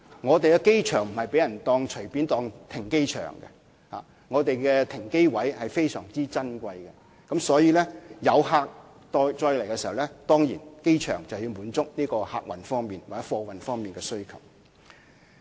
香港國際機場並不會容許隨便用作停機場，香港國際機場的停機位是非常珍貴的，所以，每當有飛機載客或運貨到香港時，機場便要滿足客運和貨運方面的需要。